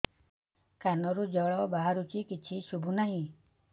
କାନରୁ ଜଳ ବାହାରୁଛି କିଛି ଶୁଭୁ ନାହିଁ